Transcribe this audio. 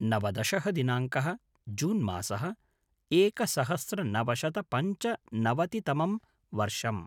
नवदशः दिनाङ्कः - जून् मासः - एकसहस्रनवशतपञ्चनवतितमं वर्षम्